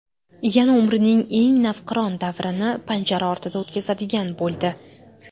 yana umrining eng navqiron davrini panjara ortida o‘tkazadigan bo‘ldi.